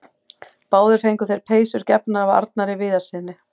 Báðir fengu þeir peysur gefnar af Arnari Viðarssyni.